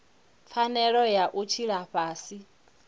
pfanelo ya u tshila fhasi